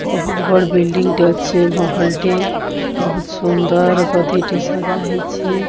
ବହୁତ୍ ବଡ଼ ବିଲ୍ଡଙ୍ ଟେ ଅଛି ମହଲ ଟେ ବହୁତ ସୁନ୍ଦର ଗଦି ଟେ ସଜାହେଇଛି।